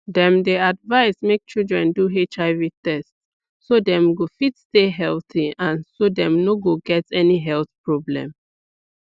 dem dey advise make children do hiv test so dem go fit stay healthy and so dem no go get any health problem